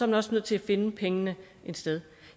man også nødt til at finde pengene et sted